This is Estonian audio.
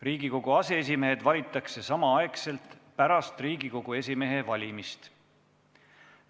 Riigikogu aseesimehed valitakse samaaegselt pärast Riigikogu esimehe valimist.